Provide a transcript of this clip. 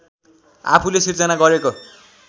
आफूले सृजना गरेको